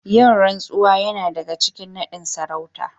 Yin rantsuwa Yana daga cikin nadin sarauta